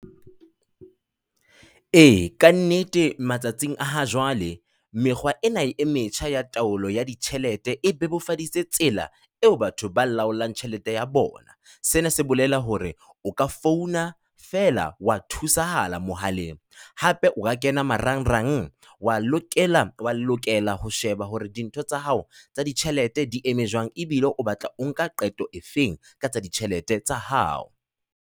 E ka nnete, matsatsing a ha jwale, mekgwa ena e metjha ya taolo ya ditjhelete e bebofaditse tsela eo batho ba laolang tjhelete ya bona. Sena se bolela hore o ka founa fela wa thusahala mohaleng. Hape o ka kena marangrang wa lokela wa lokela ho sheba hore dintho tsa hao tsa ditjhelete di eme jwang ebile o batla o nka qeto efeng ka tsa ditjhelete tsa hao.